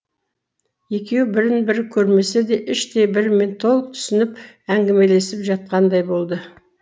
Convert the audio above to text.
екеуі бірін бірі көрмесе де іштей бірімен толық түсінісіп әңгімелесіп жатқандай болды